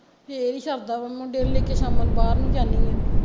ਫੇਰ ਈ ਸ਼ਰਦਾ ਵਾ ਮੁੰਡੇ ਨੂੰ ਲੇ ਕੇ ਸ਼ਾਮਾ ਨੂੰ ਬਾਹਰ ਨੂੰ ਜਾਂਦੀ ਆ